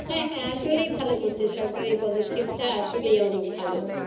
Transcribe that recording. হ্যাঁ আসলেই ভালো করেছে সরকার এই পদক্ষেপটা আসলেই অনেক ভালো